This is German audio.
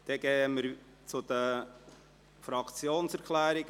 ( Dann fahren wir weiter mit den Fraktionserklärungen.